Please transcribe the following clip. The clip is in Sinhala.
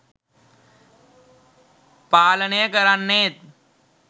පාලනය කරන්නේත්